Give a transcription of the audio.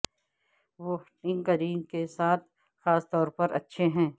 وہ ھٹی کریم کے ساتھ خاص طور پر اچھے ہیں